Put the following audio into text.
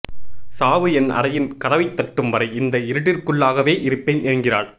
சாவு என் அறையின் கதவை தட்டும் வரை இந்த இருட்டிற்குள்ளாகவே இருப்பேன் என்கிறாள்